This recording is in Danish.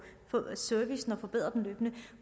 servicen og forbedre den løbende